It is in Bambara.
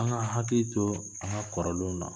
An ka hakili to an ka kɔrɔlenwn na